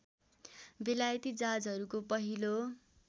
बेलायती जहाजहरूको पहिलो